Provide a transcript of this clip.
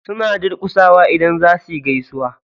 Suna durƙusawa idan za suyi gaisuwa.